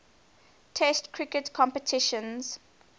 test cricket competitions